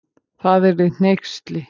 Það yrði hneyksli.